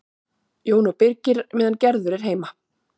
Jón og Birgir meðan Gerður er heima.